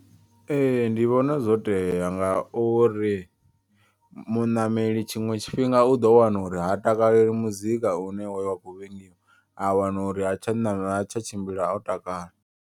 Ee ndivhona zwoteya nga uri muṋameli tshiṅwe tshifhinga u ḓo wana uri ha takaleli muzika u ne wa khou vhangiwa a wana uri ha tsha na tsha tshimbila o takala.